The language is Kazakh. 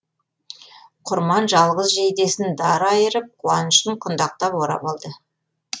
құрман жалғыз жейдесін дар айырып қуанышын құндақтап орап алды